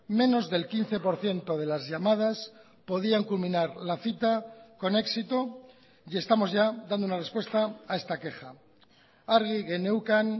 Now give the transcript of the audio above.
menos del quince por ciento de las llamadas podían culminar la cita con éxito y estamos ya dando una respuesta a esta queja argi geneukan